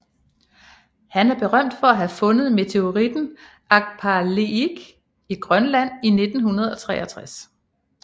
Han er berømt for at have fundet meteoritten Agpalilik i Grønland i 1963